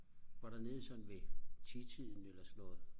var dernede sådan ved titiden eller sådan noget